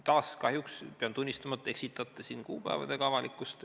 Taas kahjuks pean tunnistama, et te eksitate siin kuupäevadega avalikkust.